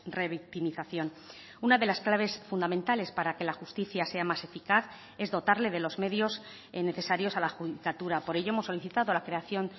revictimización una de las claves fundamentales para que la justicia sea más eficaz es dotarle de los medios necesarios a la judicatura por ello hemos solicitado la creación